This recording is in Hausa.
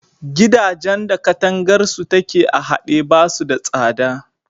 Gidajan da katangarsu take a haɗe, ba su da tsada.